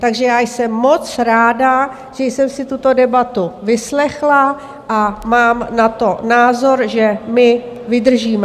Takže já jsem moc ráda, že jsem si tuto debatu vyslechla, a mám na to názor, že my vydržíme.